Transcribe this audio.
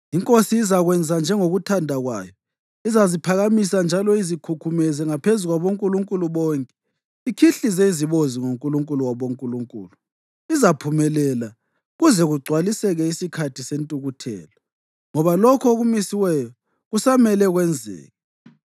“Inkosi izakwenza njengokuthanda kwayo. Izaziphakamisa njalo izikhukhumeze ngaphezu kwabonkulunkulu bonke ikhihlize izibozi ngoNkulunkulu wabonkulunkulu. Izaphumelela kuze kugcwaliseke isikhathi sentukuthelo, ngoba lokho okumisiweyo kusamele kwenzeke.